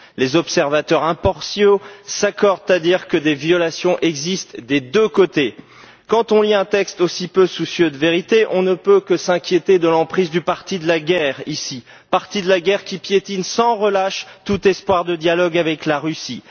Les observateurs impartiaux s'accordent à dire que des violations existent des deux côtés. Quand on lit un texte aussi peu soucieux de vérité, on ne peut que s'inquiéter de l'emprise du parti de la guerre ici, parti de la guerre qui piétine sans relâche tout espoir de dialogue avec la Russie.